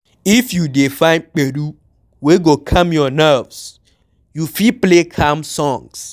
If you dey find gbedu wey go calm your nerves, you fit play calm songs